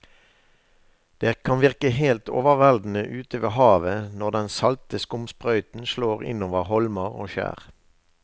Det kan virke helt overveldende ute ved havet når den salte skumsprøyten slår innover holmer og skjær.